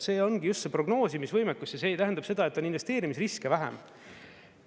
See ongi just see prognoosimisvõimekus ja see tähendab seda, et on investeerimisriske vähem.